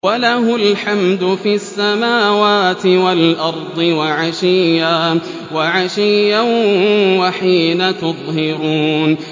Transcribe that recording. وَلَهُ الْحَمْدُ فِي السَّمَاوَاتِ وَالْأَرْضِ وَعَشِيًّا وَحِينَ تُظْهِرُونَ